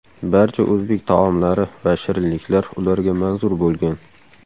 Barcha o‘zbek taomlari va shirinliklar ularga manzur bo‘lgan.